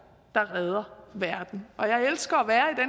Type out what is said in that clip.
der redder verden jeg elsker